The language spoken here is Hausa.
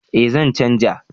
Eh zan canja